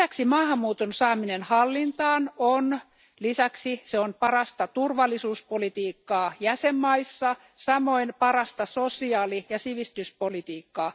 Maahanmuuton saaminen hallintaan on lisäksi parasta turvallisuuspolitiikkaa jäsenmaissa, samoin parasta sosiaali ja sivistyspolitiikkaa.